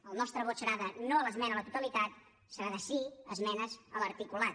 el nostre vot serà de no a l’esmena a la totalitat serà de sí a esmenes a l’articulat